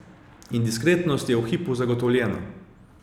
In diskretnost je v hipu zagotovljena!